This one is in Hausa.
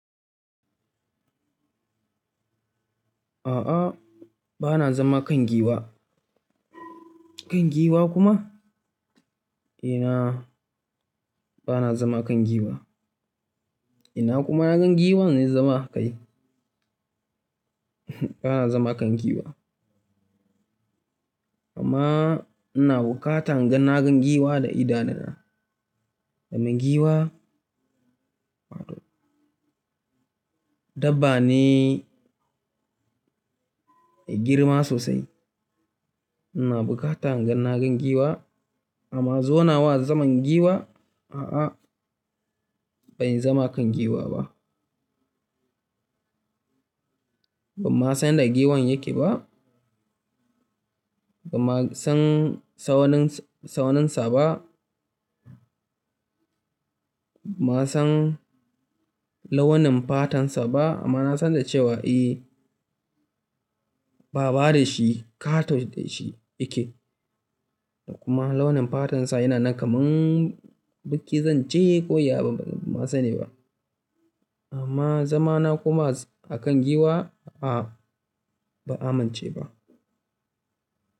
A'a, ba na zama kan giwa. Kan giwa kuma? Ina, ba na zama kan giwa. Ina kuma na gan giwa na zama a kai. Ba na zama kan giwa. Amma ina bukata in ga na gan giwa da idanuna. Domin giwa, dabba ne mai girma sosai. Ina bukata in ga na gan giwa amma zona wa zaman giwa, a'a, bai zama a kan giwa ba. Ban ma san yanda giwan yake ba. Ba ma san sauninsa ba. Ba ma san launin fatansa ba amma na san da cewa eh, baba da shi katon da shi yake. Kuma launin fatansa yana nan kaman biki zance ko yabi banma sani ba. Amma zamana kuma akan giwa, a'a, ba amince ba.